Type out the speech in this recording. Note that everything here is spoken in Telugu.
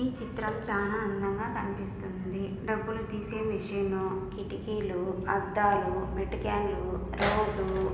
ఈ చిత్రం చానా అందంగా కనిపిస్తుంది. డబ్బులు తీసే మెషిను కిటికీలు అద్దాలు మేటికెన్లు రోడ్డు--